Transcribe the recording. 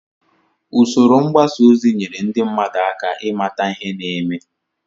Usoro mgbasa ozi nyere ndị mmadụ aka ịmata ihe na-eme